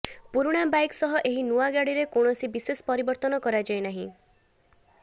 ପୁରୁଣା ବାଇକ ସହ ଏହି ନୂଆ ଗାଡିରେ କୌଣସି ବିଶେଷ ପରିବର୍ତ୍ତନ କରାଯାଇନାହିଁ